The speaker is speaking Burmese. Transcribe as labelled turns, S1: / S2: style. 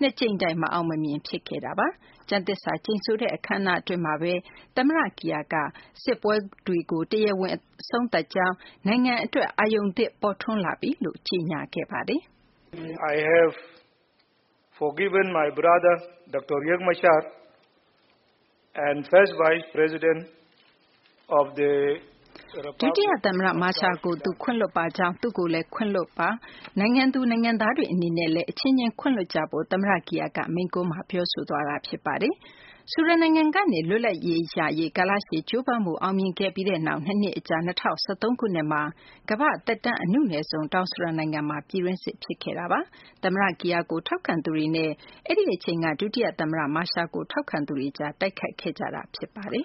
S1: ၂ ကြိမ်တိုင် မအောင်မမြင် ဖြစ်ခဲ့တာပါ။ ကျမ်းသစ္စာကျိန်ဆိုတဲ့ အခမ်းအနားအတွင်းမှာပဲ သမ္မတ Kiir က စစ်ပွဲကို တရားဝင် အဆုံးသတ်ကြောင်း၊ နိုင်ငံအတွက် အရုဏ်သစ် ပေါ်ထွန်းလာပြီး ကြေညာကြောင်း ပြောဆိုခဲ့ပါတယ်။
S2: ဒုတိယ
S1: သမ္မတ Machar ကို သူခွင့်လွှတ်ပါကြောင်း၊ သူ့ကိုလည်း ခွင့်လွှတ်ပါ။ နိုင်ငံသူနိုင်ငံသားတွေ အနေနဲ့လည်း အချင်းချင်း ခွင့်လွှတ်ကြဖို့ သမ္မတ Kiir က မိန့်ခွန်းမှာ ပြောဆိုသွားတာ ဖြစ်ပါတယ်။ ဆူဒန်နိုင်ငံကနေ လွတ်လပ်ရေးရရေး ကာလရှည်ကြိုးပမ်းမှု အောင်မြင်ခဲ့ပြီးနောက် ၂ နှစ်အကြာ ၂၀၁၃ ခုနှစ်မှာ ကမ္ဘာ့သက်တမ်း အနုနယ်ဆုံး တောင်ဆူဒန်နိုင်ငံမှာ ပြည်တွင်းစစ် ဖြစ်ခဲ့တာပါ။ သမ္မတ Kiir ကို ထောက်ခံသူတွေနဲ့ အဲဒီအချိန်က ဒုတိယသမ္မတ Machar ကို ထောက်ခံသူတွေကြား တိုက်ခိုက်ခဲ့ကြတာ ဖြစ်ပါတယ်